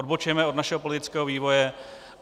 Odbočujeme od našeho politického vývoje.